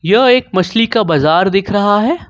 यह एक मछली का बाजार दिख रहा है।